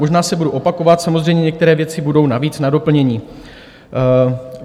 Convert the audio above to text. Možná se budu opakovat, samozřejmě některé věci budou navíc na doplnění.